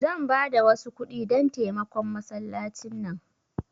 Zan bada wasu kudi dan taimakon masallaci nan.